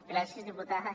gràcies diputada